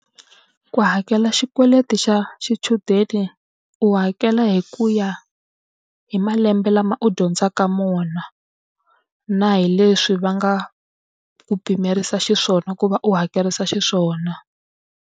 Ku hakela xikweleti xa xichudeni u hakela hi ku ya hi malembe lama u dyondzaka wona, na hi leswi va nga ku pimerisa xiswona ku va u hakerisa xiswona.